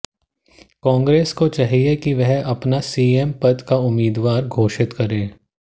कांग्रेस को चाहिए कि वह अपना सीएम पद का उम्मीदवार घोषित करें